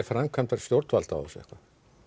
framkvæmd stjórnvalda á þessu eitthvað